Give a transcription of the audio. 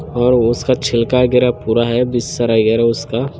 और उसका छिलका वगेरा पूरा हे उसका